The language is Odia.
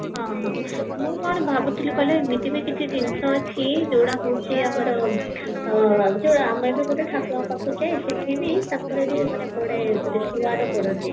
ହଁ ହଁ ମୁଁ କଣ ଭାବୁଥିଲି କହିଲ ଏମିତି ବି କିଛି ଜିନିଷ ଅଛି ଯୋଉଟା ହଉଚି ଆମର ଯୋ ଆମ ଯୋଉ ଗୋଟେ ଠାକୁରଙ୍କ ପାଖକୁ ଯାଉ ସେଠି ବି ତାଙ୍କରବି ମାନେ ପଡେ ପଡନ୍ତି